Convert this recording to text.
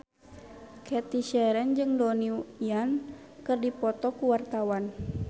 Cathy Sharon jeung Donnie Yan keur dipoto ku wartawan